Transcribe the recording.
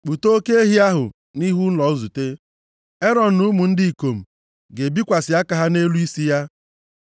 “Kpụta oke ehi ahụ nʼihu ụlọ nzute. Erọn na ụmụ ndị ikom ga-ebikwasị aka ha nʼelu isi ya.